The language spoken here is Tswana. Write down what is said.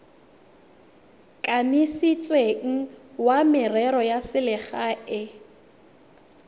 kanisitsweng wa merero ya selegae